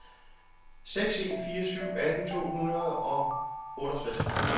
seks en fire syv atten to hundrede og otteogtres